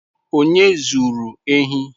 Onye zuru ehi?